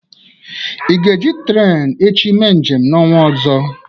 Ị ga-eji trenu echi mee njem n'ọnwa ọzọ?